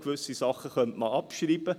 Gewisse Sachen könnte man abschreiben.